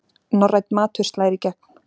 Norrænn matur slær í gegn